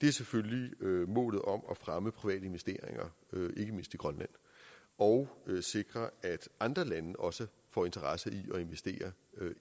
er selvfølgelig målet om at fremme private investeringer ikke mindst i grønland og sikre at andre lande også får interesse